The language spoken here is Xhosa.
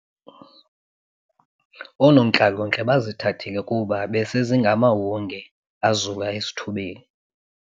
Oonontlalontle bazithathile kuba besezingamahunge azula esithubeni.